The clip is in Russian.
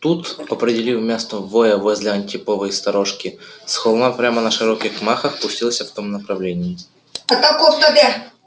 тут определив место воя возле антиповой сторожки с холма прямо на широких махах пустился в том направлении